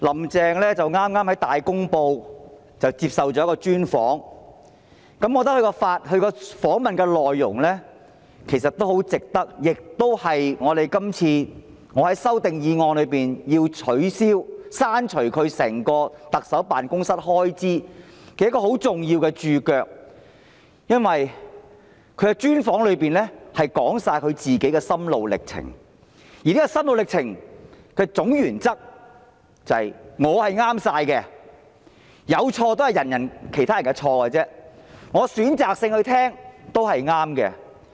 "林鄭"剛接受了《大公報》的專訪，我覺得這次訪問的內容，對於我這次提出削減行政長官辦公室全年預算開支的修正案，是一個很重要的註腳，因為"林鄭"在專訪中說出自己的心路歷程，而這個心路歷程的總原則是"我是全對的，有錯也是別人的錯，我選擇性聆聽也是對的"。